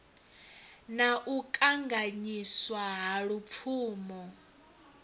na u kanganyiswa ha lupfumo